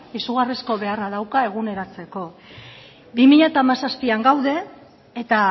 izugarrizko beharra dauka eguneratzeko bi mila hamazazpian gaude eta